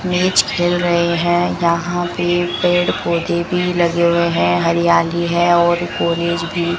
match खेल रहे है यहां पे पेड़ पौधे भी लगे हुए है हरियाली है और कॉलेज भी --